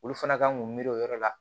Olu fana kan k'u miiri o yɔrɔ la